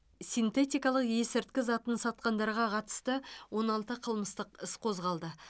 синтетикалық ескірткі затын сатқандарға қатысты он алты қылмыстық іс қозғалды